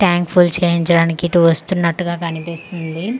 Tank full చేయించడానికి ఇటు వస్తున్నటుగా కనిపిస్తుంది .